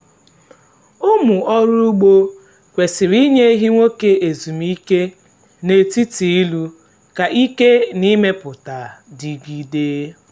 ụmụ ọrụ ugbo kwesịrị inye ehi nwoke ezumike n’etiti ịlụ ka ike na imepụta dịgide.